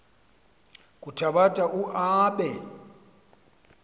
kuthabatha u aabe